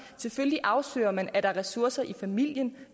selvfølgelig afsøger man om der er ressourcer i familien